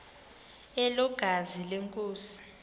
elo gazi lenkosi